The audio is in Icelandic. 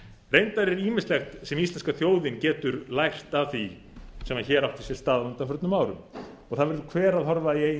reyndar er ýmislegt sem íslenska þjóðin getur lært af því sem hér hefur átt sér á undanförnum árum það verður hver að horfa í eigin